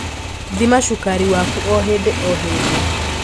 Thima cukari waku hĩndĩ o hĩndĩ